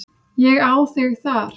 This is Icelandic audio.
Ég á þig þar.